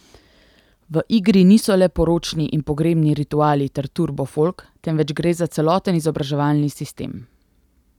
V igri niso le poročni in pogrebni rituali ter turbofolk, temveč gre za celoten izobraževalni sistem.